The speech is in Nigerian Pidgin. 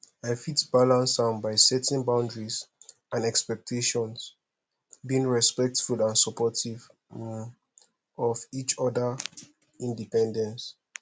i fit balance am by setting boundaries and expectations being respectful and supportive um of each odaa independence